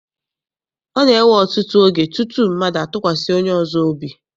Ọ na-ewe ọtụtụ oge tutu mmadụ atụkwasị onye ọzọ obi.